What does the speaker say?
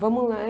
Vamos lá.